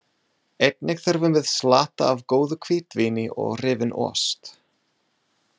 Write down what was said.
Einnig þurfum við slatta af góðu hvítvíni og rifinn ost.